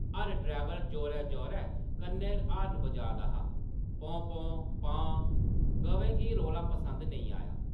हर driver जोरै-जोरै कन्नै horn बजाऽ दा हा! पौं, पौं ! पां ! गवें गी रौला पसंद नेईं आया ।